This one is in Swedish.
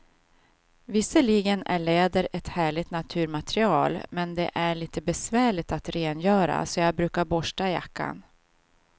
Visserligen är läder ett härligt naturmaterial, men det är lite besvärligt att rengöra, så jag brukar borsta jackan.